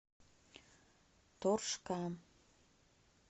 торжка